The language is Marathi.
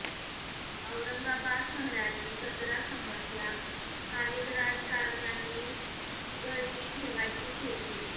औरंगाबाद शहराची कचरा समस्या स्थानिक राजकारण्यांनी चिघळती ठेवायचीच होती